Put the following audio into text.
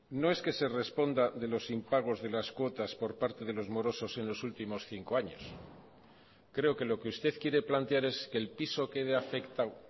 no es que se responda de los impagos de las cuotas por parte de los morosos en los últimos cinco años creo que lo que usted quiere plantear es que el piso quede afectado